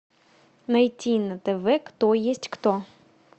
найти на тв кто есть кто